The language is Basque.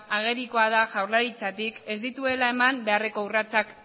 agerikoa da jaurlaritzatik ez dituela eman beharreko urratsak